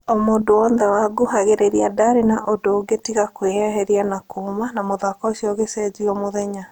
O mũndũ wothe wangũhagĩrĩria ndarĩ na ũndũ ũngĩ tiga kwĩyeheria na kuma na mũthako ũcio ũgĩcenjio mũthenya.